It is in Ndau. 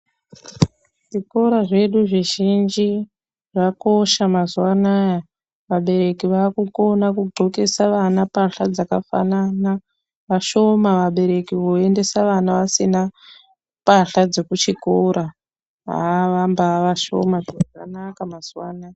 Zvikora zvedu zvizhinji zvakosha mazuwaanaa vabereki vaakukona kugqokese vana mbahla dzakafanana vashoma vabereki voendesa vana vasina mbahla dzekuchikora haa vambaavashoma zviro zvanaka mazuwaanaa.